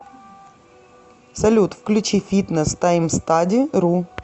салют включи фитнес таймстади ру